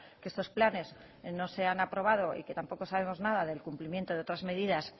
que estos planes no se han aprobado y que tampoco sabemos nada del cumplimiento de otras medidas